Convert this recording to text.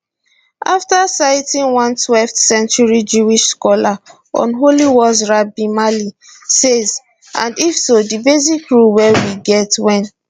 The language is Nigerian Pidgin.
after citing one twelfth century jewish scholar on holy wars rabbi mali say [and if so] di basic rule wey we get wen